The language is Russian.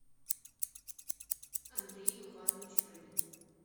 андрей иванович рыбин